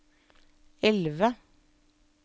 elve